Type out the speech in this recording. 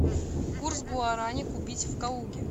курс гуарани купить в калуге